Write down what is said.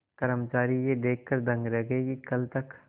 कर्मचारी यह देखकर दंग रह गए कि कल तक